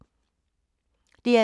DR2